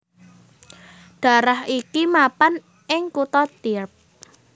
Dhaerah iki mapan ing kutha Tierp